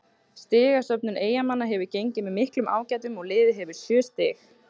Stigasöfnun Eyjamanna hefur gengið með miklum ágætum og liðið hefur sjö stig.